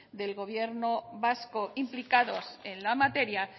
del gobierno vasco implicados en la materia